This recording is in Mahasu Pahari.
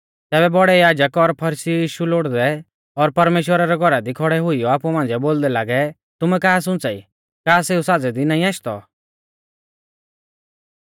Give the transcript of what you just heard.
तैबै बौड़ै याजक और फरीसी यीशु लोड़दै लागै और परमेश्‍वरा रै घौरा दी खौड़ै हुइयौ आपु मांझ़िऐ बोलदै लागै तुमै का सुंच़ाई का सेऊ साज़ै दी नाईं आशदौ